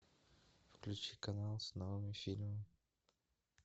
включи канал с новыми фильмами